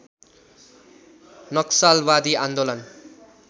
नक्सलवादी आन्दोलन